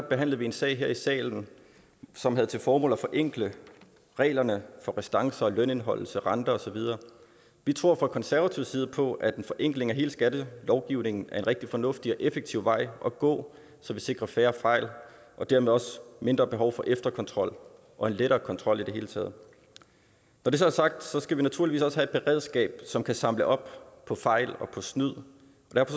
behandlede vi en sag her i salen som havde til formål at forenkle reglerne for restancer lønindeholdelse renter og så videre vi tror fra konservativ side på at en forenkling af hele skattelovgivningen er en rigtig fornuftig og effektiv vej at gå så vi sikrer færre fejl og dermed også mindre behov for efterkontrol og en lettere kontrol i det hele taget når det så er sagt skal vi naturligvis også have et beredskab som kan samle op på fejl og snyd